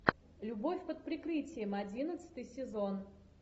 любовь под прикрытием одиннадцатый сезон